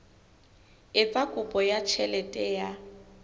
etsa kopo ya tjhelete ya